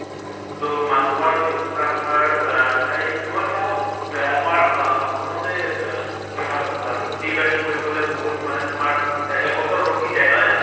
ত মানুহৰ যিটো ধৰা তোমাৰ এই ব মই চাওঁ ব্য়া আমাৰ আহ অসমতে বে তোমাৰ ৱা খেতি বাতি কৰিবলৈ বহুত মানে তোমাৰ এবছৰ ৰখি যায়, নহয় জানো?